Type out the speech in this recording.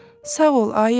Sağ ol ayı.